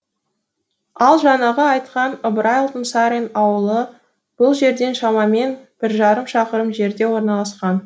ал жаңағы айтқан ыбырай алтынсарин ауылы бұл жерден шамамен бір жарым шақырым жерде орналасқан